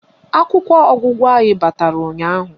Akwụkwọ ọgụgụ anyị batara ụnyaahụ